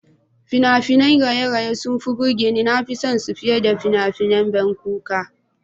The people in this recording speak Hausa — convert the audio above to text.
Fina-finan raye-raye suna burge ni, na fi son su fiye da fina-finai masu ban kuka.